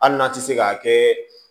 Hali n'a tɛ se k'a kɛ